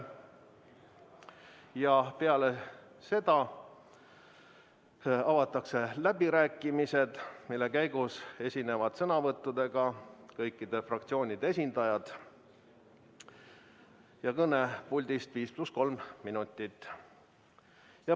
Ja peale seda avatakse läbirääkimised, mille käigus saavad sõnavõtuga esineda kõikide fraktsioonide esindajad, nende kõne puldist võib kesta 5 + 3 minutit.